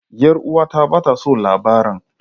Yar uwata ba ta son labaran.